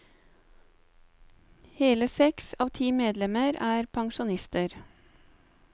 Hele seks av ti medlemmer er pensjonister.